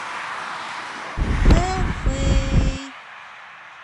хэфэй